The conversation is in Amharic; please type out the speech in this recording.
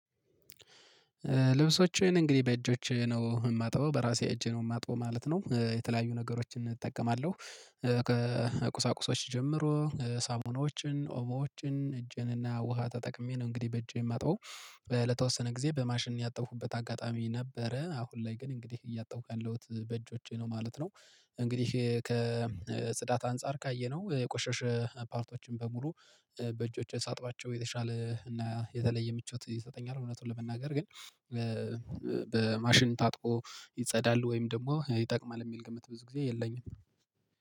ልብሶችን እንግዲህ በእጆች ነው ማጥበው በራሴ እጄ ነው የማጥበው ማለት ነው የተለያዩ ነገሮችን እጠቀማለሁ። ቁሳቁሶች ጀምሮ ሳሙናዎችን ኦሞዎችን እጄን እና ውሃ ተጠቅሜ ነው እንግዲህ በእጄ የማጣው። ለተወሰነ ጊዜ በማሽን ያጠብቁበት አጋጣሚ ነበረ አሁን ላይ ግን እንግዲህ እያጠብኩ ያለሁት በእጆቼ ነው ማለት ነው። እንግዲህ ከጽዳት አንፃር ካየነው የቆሸሸ ፓርቶችን በሙሉ በእጆቼ ሳጥባቸው የተሻለ እና የተለየ ምቾት ይሰጠኛል። እውነቱን ለመናገር ግን በማሽን ታጥቦ ይጸዳል ወይም ደግሞ ይጠቅማል የሚል ግምት ብዙ ጊዜ የለኝም።